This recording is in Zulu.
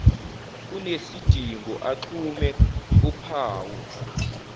kunesidingo axhume uphawu